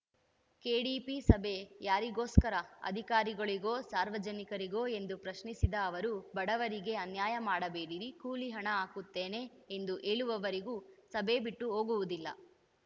KDP ಸಭೆ ಯಾರಿಗೋಸ್ಕರ ಅಧಿಕಾರಿಗಳಿಗೊ ಸಾರ್ವಜನಿಕರಿಗೊ ಎಂದು ಪ್ರಶ್ನಿಸಿದ ಅವರು ಬಡವರಿಗೆ ಅನ್ಯಾಯ ಮಾಡಬೇಡಿರಿ ಕೂಲಿ ಹಣ ಹಾಕುತ್ತೇನೆ ಎಂದು ಹೇಳುವವರಿಗೂ ಸಭೆ ಬಿಟ್ಟು ಹೋಗುವುದಿಲ್ಲ